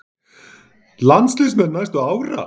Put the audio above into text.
Landsliðsmenn næstu ára?